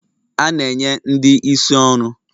A na enye ndị isi ọrụ.